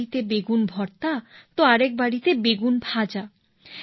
এক বাড়িতে বেগুন ভর্তা তো আরেক বাড়িতে বেগুন ভাজা